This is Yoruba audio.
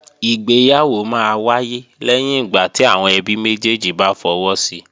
Ìgbéyàwó máa wáyé lẹ́yìn ìgbà tí àwọn ẹbí méjèjì bá fọwọ́ si